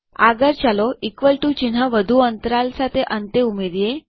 આગળ ચાલો equal to ચિહ્ન વધુ અંતરાલ સાથે અંતે ઉમેરીએ